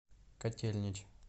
котельнич